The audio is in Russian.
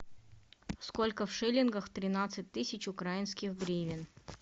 сколько в шиллингах тринадцать тысяч украинских гривен